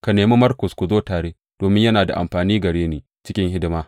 Ka nemi Markus ku zo tare, domin yana da amfani a gare ni cikin hidimata.